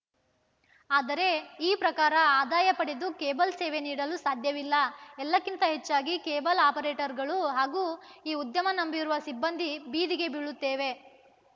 ಆದರೆ ಈ ಪ್ರಕಾರ ಆದಾಯ ಪಡೆದು ಕೇಬಲ್‌ ಸೇವೆ ನೀಡಲು ಸಾಧ್ಯವಿಲ್ಲ ಎಲ್ಲಕ್ಕಿಂತ ಹೆಚ್ಚಾಗಿ ಕೇಬಲ್‌ ಆಪರೇಟರ್‌ಗಳು ಹಾಗೂ ಈ ಉದ್ಯಮ ನಂಬಿರುವ ಸಿಬ್ಬಂದಿ ಬೀದಿಗೆ ಬೀಳುತ್ತೇವೆ